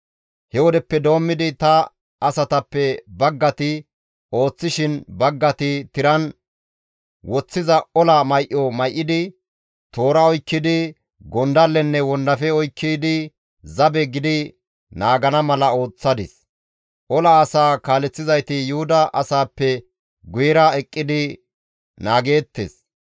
He wodeppe doommidi ta asatappe baggati ooththishin, baggati tiran woththiza ola may7o may7idi, toora oykkidi, gondallenne wondafe oykkidi zabe gidi naagana mala ooththadis; ola asaa kaaleththizayti Yuhuda asappe guyera eqqidi naageettes.